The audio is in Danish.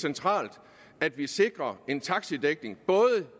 centralt at vi sikrer en taxidækning